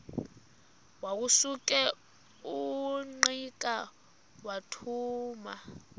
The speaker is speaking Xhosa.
wasuka ungqika wathuma